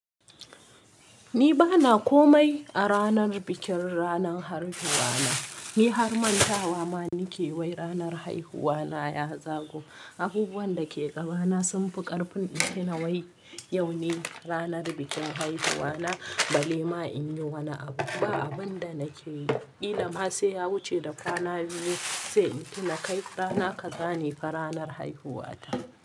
Ni bana komai a ranar bikin ranar haihuwa na. Ni har mantawa ma nake wai ranar haihuwa na ya zago. Abubuwan da ke gabana sun fi ƙarfin nake nawai yau ne ranar bikin haihuwa na balle ma in yi wani abu. Ba abun da nake yi ba. Qilama sai ya wuce da rana biyu sai in tuna kai rana ka zane fa ranar haihuwa ta.